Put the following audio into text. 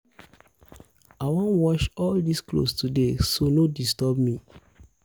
i wan wash all dis cloth today so no disturb me